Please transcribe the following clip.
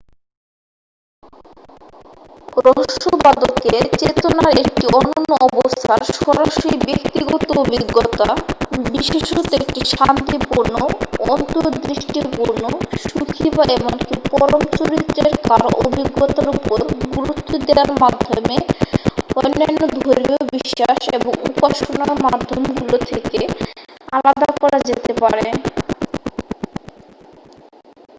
রহস্যবাদকে চেতনার একটি অনন্য অবস্থার সরাসরি ব্যক্তিগত অভিজ্ঞতা বিশেষত একটি শান্তিপূর্ণ অন্তর্দৃষ্টিপূর্ণ সুখী বা এমনকি পরম চরিত্রের কারও অভিজ্ঞতার উপর গুরুত্ব দেয়ার মাধ্যমে অন্যান্য ধর্মীয় বিশ্বাস এবং উপাসনার মাধ্যমগুলো থেকে আলাদা করা যেতে পারে